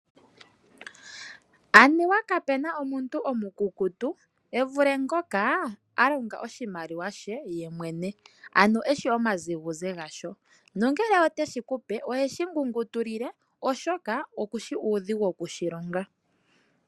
Anuwa kapu na omuntu omukukutu, e vule ngoka a longa oshimaliwa she ye mwene, ano eshi omazigudhe gasho, nongele ote shi ku pe oheshi ngungutulile, oshoka oku shi uudhigu oku shi longa.